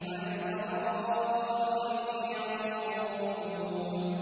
عَلَى الْأَرَائِكِ يَنظُرُونَ